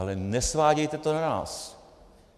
Ale nesvádějte to na nás.